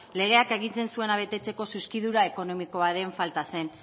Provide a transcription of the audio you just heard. legeak agintzen zuena betetzeko zuzkidura ekonomikoaren falta zen